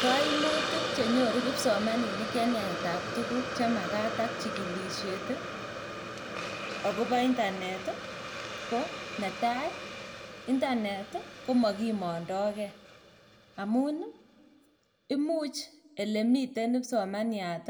Kaimutik che nyoru kipsomaninik en yaetab tuguk che magat ak chigilisiet agobo intanet ko netai, intanet komakimondoge amun imuch elemiten kipsomaniat